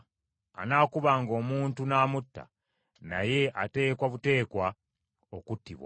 “Anaakubanga omuntu n’amutta, naye ateekwa buteekwa okuttibwa.